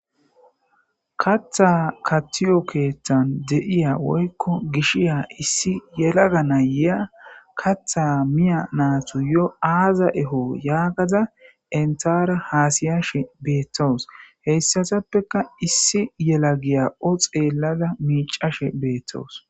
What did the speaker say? Katha kattiyo keeththan de'iya woykko gishiya issi yelaga nayyeya katha miya naatu yo aaza eho yaagada entara haasiyashe beettoos heyssatappeka issi yela giya o xeellada miicashe beettoos.